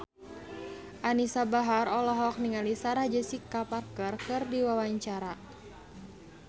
Anisa Bahar olohok ningali Sarah Jessica Parker keur diwawancara